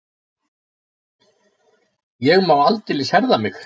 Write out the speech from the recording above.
Ég má aldeilis herða mig.